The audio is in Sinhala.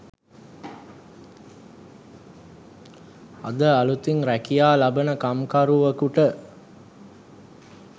අද අලුතින් රැකියා ලබන කම්කරුවකුට